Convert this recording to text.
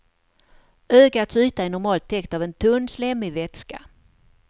Ögats yta är normalt täckt av en tunn slemmig vätska.